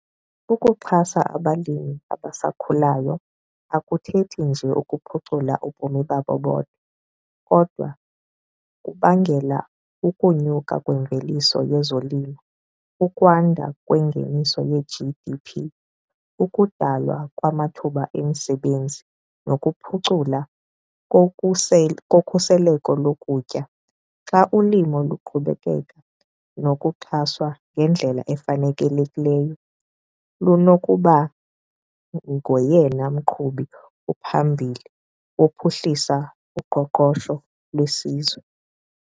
Ukuxhasa abalimi abasakhulayo akuthethi nje ukuphucula ubomi babo bodwa kodwa kubangela ukunyuka kwemveliso yezolimo, ukwanda kwengeniso ye-G_D_P, ukudalwa kwamathuba emisebenzi nokuphucula kokhuseleko lokutya. Xa ulimo luqhubekeka nokuxhaswa ngendlela efanelekileyo lunokuba ngoyena mqhubi uphambili ophuhlisa uqoqosho lwesizwe.